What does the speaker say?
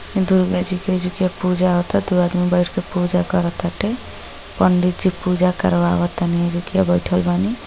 दुर्गा जी के जी एजुकिया पूजा होता दू आदमी बैठके पूजा करताटे पंडित जी पूजा करवा ताने एजुकिया बैठल बानी।